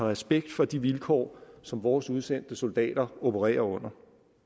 respekt for de vilkår som vores udsendte soldater opererer under